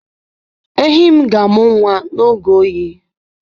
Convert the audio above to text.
Ehi m ga amụ nwa n'oge oyi.